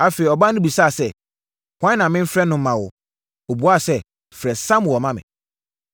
Afei, ɔbaa no bisaa sɛ, “Hwan na memfrɛ no mma wo?” Ɔbuaa sɛ, “Frɛ Samuel ma me.”